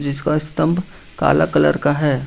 जिसका स्तंभ काला कलर का है।